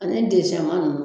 Ani desɛnman ninnu